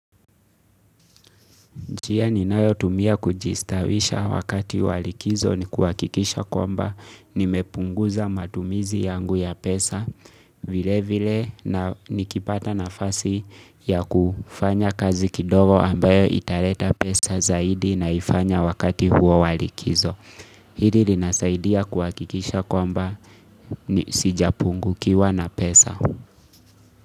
Njia ninayotumia kujistawisha wakati wa likizo ni kuhakikisha kwamba nimepunguza matumizi yangu ya pesa vile vile na nikipata nafasi ya kufanya kazi kidogo ambayo italeta pesa zaidi naifanya wakati huo wa likizo. Hili linasaidia kuhakikisha kwamba ni sijapungukiwa na pesa.